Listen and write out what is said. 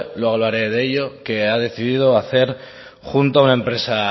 luego hablaré de ello que ha decidido hacer junto a una empresa